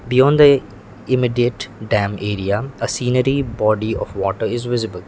beyond the immediate dam area a scenery body of water is visible.